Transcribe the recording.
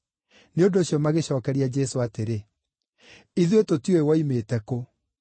Nĩ ũndũ ũcio magĩcookeria Jesũ atĩrĩ, “Ithuĩ tũtiũĩ woimĩte kũ.”